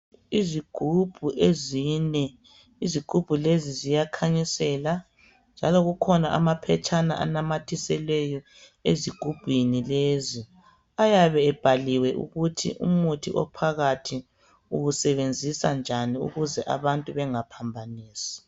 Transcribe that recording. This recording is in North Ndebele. Izigubhu ezine izigubhu lezi ziyakhanyisela njalo kukhona amaphetshana anamathiselweyo ezigubhini lezi ayabe ebhaliwe ukuthi umuthi ophakathi uwusebenzisa njani ukuze abantu bengaphambanisi.